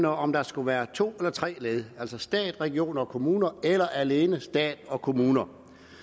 om der skulle være to eller tre led altså stat regioner og kommuner eller alene stat og kommuner